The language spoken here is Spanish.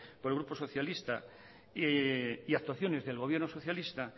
por el grupo socialista y actuaciones del gobierno socialista